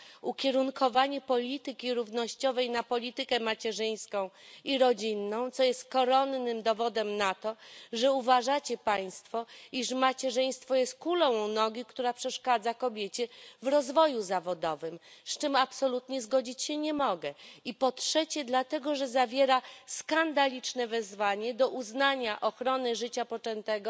ukierunkowanie polityki równościowej na politykę macierzyńską i rodzinną, co jest koronnym dowodem na to, że uważacie państwo, iż macierzyństwo jest kulą u nogi, która przeszkadza kobiecie w rozwoju zawodowym, z czym absolutnie zgodzić się nie mogę, i po trzecie, dlatego że zawiera skandaliczne wezwanie do uznania ochrony życia poczętego